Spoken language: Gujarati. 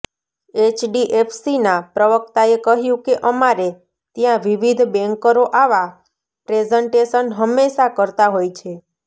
એચડીએફસીના પ્રવક્તાએ કહ્યું કે અમારે ત્યાં વિવિધ બેન્કરો આવા પ્રેઝન્ટેશન હંમેશાં કરતા હોય છે